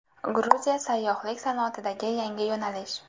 Gruziya sayyohlik sanoatidagi yangi yo‘nalish.